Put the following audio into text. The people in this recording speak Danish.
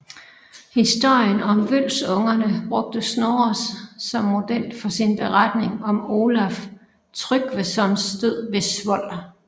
Historien om Vølsungerne brugte Snorres som model for sin beretning om Olaf Tryggvesons død ved Svold